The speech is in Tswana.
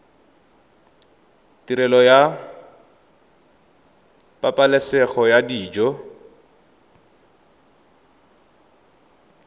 tirelo ya pabalesego ya dijo